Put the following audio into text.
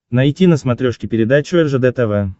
найти на смотрешке передачу ржд тв